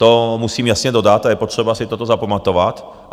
To musím jasně dodat a je potřeba si toto zapamatovat.